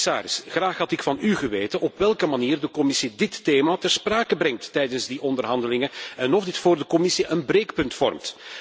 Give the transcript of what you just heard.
Commissaris, graag had ik van u geweten op welke manier de Commissie dit thema ter sprake brengt tijdens die onderhandelingen en of dit voor de Commissie een breekpunt vormt.